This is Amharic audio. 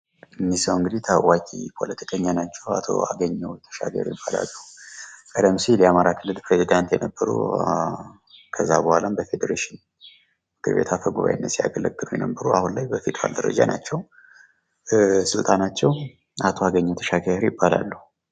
እኒህ ሰው እንግዲህ ታዋቂ ፖለቲከኛ ናቸው አቶ አገኘው ተሻገር ይባላ። ቀደም ሲል የአማራ ክልል ፕሬዝደንት የነበሩ፤ ከዛ በኋላም በፌዴሬሽን ምክርቤት አፈጉባኤነት ሲያገለጉ የነበሩ አሁን ላይ በፌደራል ደረጃ ናቸው ስማቸው አቶ አገኘው ተሻገር ይባላሉ።